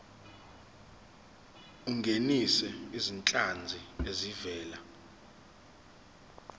ungenise izinhlanzi ezivela